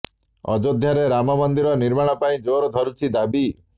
ଅଯୋଧ୍ୟାରେ ରାମ ମନ୍ଦିର ନିର୍ମାଣ ପାଇଁ ଜୋର ଧରୁଛି ଦାବି